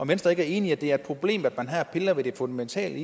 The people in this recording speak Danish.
venstre ikke enig i at det er et problem at man her piller ved det fundamentale